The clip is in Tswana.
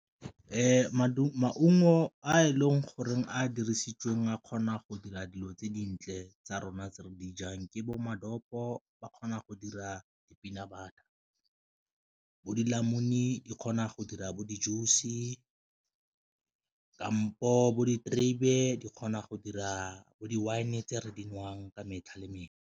Maungo a e leng goreng a dirisitsweng a kgona go dira dilo tse dintle tsa rona tse re di jang ke bo ba kgona go dira di-peanut butter, bo dinamune di kgona go dira bo di-juice ka kampo bo diterebe di kgona go dira bo di-wine tse re di nwang ka metlha le metlha.